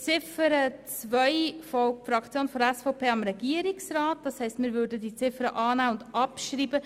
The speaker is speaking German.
Ziffer 2 werden wir annehmen und abschreiben.